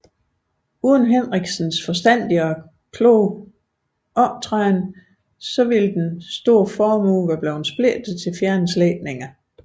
Uden Henrichsens forstandige og betænksomme optræden ville den store formue være blevet splittet til fjerne slægtninge